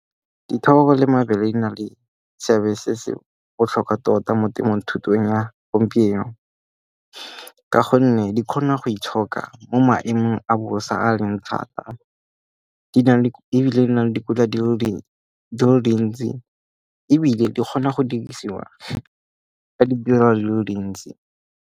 Dithoro le mabele di na le seabe se se botlhokwa tota mo ya gompieno. Ka gonne di kgona go itshoka mo maemong a bosa a leng thata. Ebile di na le dikotla di le dintsi, ebile di kgona go dirisiwa ka ditirelo di le dintsi.